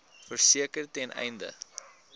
verseker ten einde